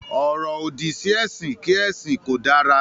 “Ọ̀rọ̀-òdì” sí ẹ̀sìn kí ẹ̀sìn kò dára.